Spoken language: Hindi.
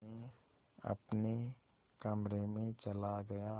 मैं अपने कमरे में चला गया